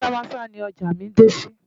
Maza-Maza ni ọjà mí dé sí.